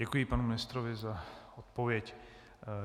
Děkuji panu ministrovi za odpověď.